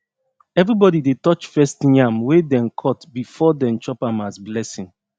everybody dey touch first yam wey dem cut before dem chop am as blessing